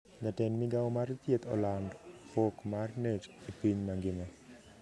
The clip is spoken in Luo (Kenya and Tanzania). Jatend migao mar thieth oland pok mar net e piny mangima